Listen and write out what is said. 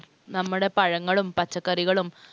നമ്മുടെ പഴങ്ങളും പച്ചക്കറികളും